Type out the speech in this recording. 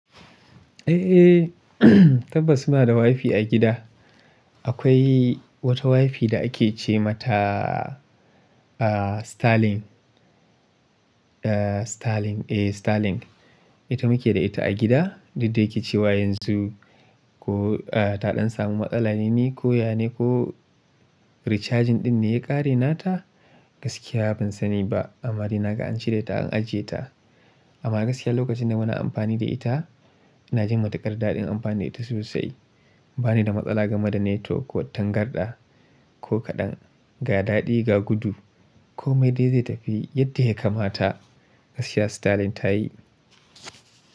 Eh, tabbas muna da wifi a gida. Akwai wata wifi da ake ce mata, ah, Starlink. Eh, Starlink. Ita muke da ita a gida. Duk da yake cewa yanzu ko, ah, ta ɗan samu matsala ne ko ya ne ko recharging ɗin ne ya ƙare nata, gaskiya ban sani ba. Amma dai naga an cire ta an ajiye ta. Amma gaskiya lokacin da muna amfani da ita, ina jin matuƙar daɗin amfani da ita sosai. Ba ni da matsala game da network ko tangarɗa ko kaɗan. Ga daɗi ga gudu ko me dai zai tafi yadda ya kamata, gaskiya Starlink ta yi.